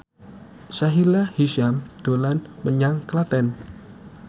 Sahila Hisyam dolan menyang Klaten